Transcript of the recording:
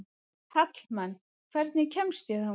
Hallmann, hvernig kemst ég þangað?